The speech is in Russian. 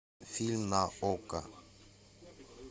фильм на окко